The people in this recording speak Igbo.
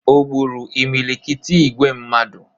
O gburu imilikiti igwe mmadụ?